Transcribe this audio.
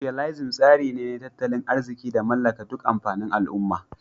" Socialism" tsari ne na tattalin arziki da mallaka dun amfanin al umma